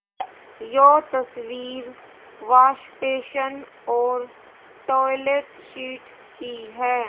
यो तस्वीर wash basin और toilet seat की है।